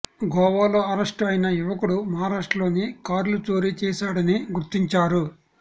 గోవాలో అరెస్టు అయిన యువకుడు మహారాష్ట్రలో కార్లు చోరీ చేశాడని గుర్తించారు